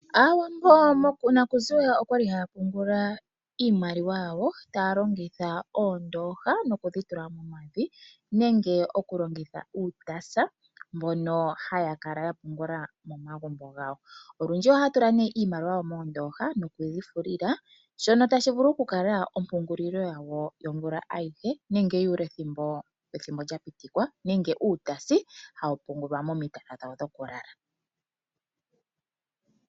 Aantu konale okwali haya pungula iimaliwa yawo muu ndooha nenge muu taasi . Ndele paife oha ya longitha oombaanga ngaashi o Ned bank okupungula iimaliwa yawo.